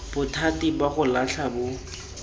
bothati ba go latlha bo